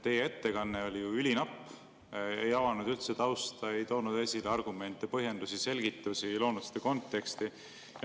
Teie ettekanne oli ülinapp, ei avanud üldse tausta, ei toonud esile argumente, põhjendusi, selgitusi ega loonud seda konteksti.